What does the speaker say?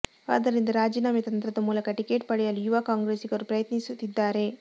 ಆದ್ದರಿಂದ ರಾಜೀನಾಮೆ ತಂತ್ರದ ಮೂಲಕ ಟಿಕೆಟ್ ಪಡೆಯಲು ಯುವ ಕಾಂಗ್ರೆಸಿಗರು ಪ್ರಯತ್ನಿಸುತ್ತಿದ್ದಾರೆ